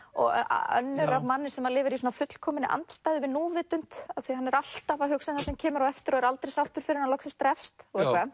önnur af manni sem lifir í fullkominni andstæðu við hann er alltaf að hugsa um það sem kemur á eftir og er aldrei sáttur fyrr en hann drepst